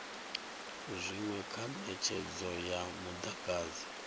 zwinwe kha netshedzo ya mudagasi